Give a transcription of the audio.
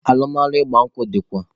Alụmalụ ịgba nkwụ dịkwa